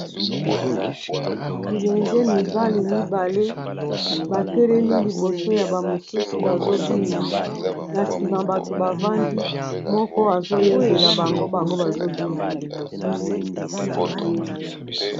bilenge mibali mibale batelemi liboso ya bamosusu bazo bina na nsima bato bavandi moko azoyembela bango bango bazobina na liboso